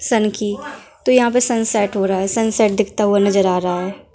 सन की तो यहाँ पे सनसेट हो रहा है सनसेट दिखता हुआ नजर आ रहा है ।